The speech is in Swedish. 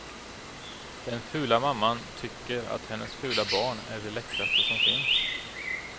Den fula mamman tycker att hennes fula barn är det läckraste som finns.